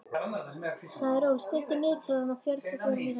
Sæsól, stilltu niðurteljara á fjörutíu og fjórar mínútur.